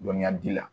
Dɔnniya di la